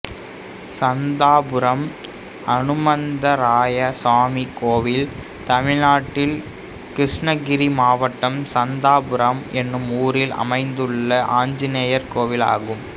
சந்தாபுரம் அனுமந்தராயசாமி கோயில் தமிழ்நாட்டில் கிருஷ்ணகிரி மாவட்டம் சந்தாபுரம் என்னும் ஊரில் அமைந்துள்ள ஆஞ்சநேயர் கோயிலாகும்